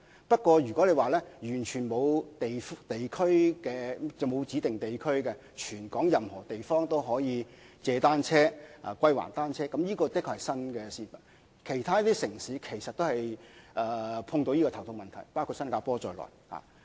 不過，完全沒有指定地區，在全港任何地方均可租借及歸還單車的服務，的確是相當新穎的做法，而其他城市其實也遇上這難題，包括新加坡。